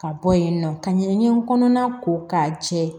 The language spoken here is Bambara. Ka bɔ yen nɔ ka ɲɛgɛn kɔnɔna ko k'a jɛ